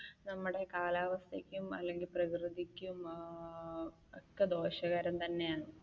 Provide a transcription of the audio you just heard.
നമ്മുടെ കാലാവസ്ഥക്കും നമ്മുടെ പ്രകൃതിക്കും ഏർ ഒക്കെ ദോഷകരം തന്നെയാണ്.